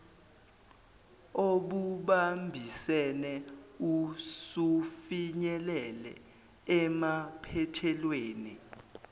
obubambisene usufinyelele emaphethelweni